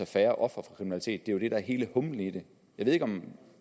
færre ofre for kriminalitet det er det er hele humlen i det jeg ved ikke om